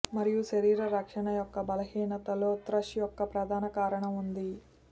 మరియు శరీర రక్షణ యొక్క బలహీనతలో త్రష్ యొక్క ప్రధాన కారణం ఉంది